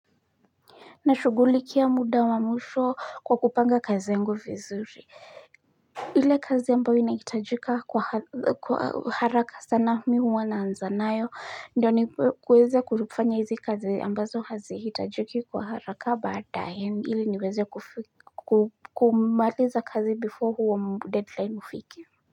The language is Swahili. Nashugulikia muda wa mwisho kwa kupanga kazi yangu vizuri ile kazi ambayo inahitajika kwa haraka sana mimi huwa ninaanza nayo ndio niweze kufanya hizi kazi ambazo hazihitajiki kwa haraka baadae ili niweze kumaliza kazi before huo deadline ufike.